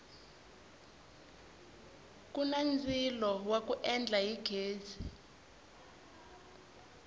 kuni ndzilo wa ku endla hi ghezi